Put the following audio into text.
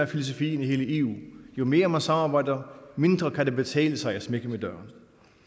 filosofien i eu jo mere man samarbejder mindre kan det betale sig at smække med døren